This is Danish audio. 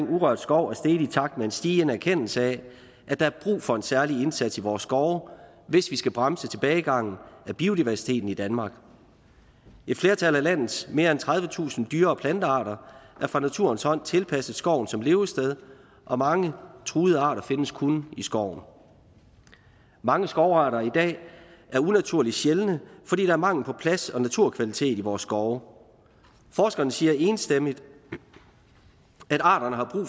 urørt skov er steget i takt med en stigende erkendelse af at der er brug for en særlig indsats i vores skove hvis vi skal bremse tilbagegangen af biodiversiteten i danmark et flertal af landets mere end tredivetusind dyre og plantearter er fra naturens hånd tilpasset skoven som levested og mange truede arter findes kun i skoven mange skovarter i dag er unaturligt sjældne fordi der er mangel på plads og naturkvalitet i vores skove forskerne siger enstemmigt at arterne har brug